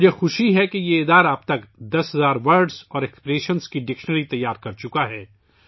مجھے خوشی ہے کہ اس ادارے نے اب تک دس ہزار الفاظ اور محاورات کی لغت تیار کرلی ہے